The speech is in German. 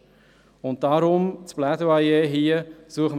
Deshalb das Plädoyer an dieser Stelle